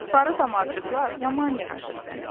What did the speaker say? Sarı damarcıqlar yaman yaraşır sənə.